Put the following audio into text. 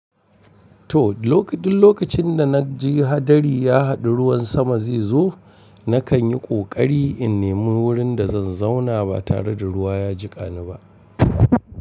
To, duk lokacin da na ji hadari ya haɗu, ruwan sama zai zo. Nakan yi ƙoƙari in nemi wurin da zan zauna ba tare da ruwa ya jiƙani ba.